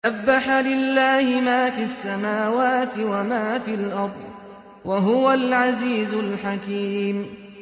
سَبَّحَ لِلَّهِ مَا فِي السَّمَاوَاتِ وَمَا فِي الْأَرْضِ ۖ وَهُوَ الْعَزِيزُ الْحَكِيمُ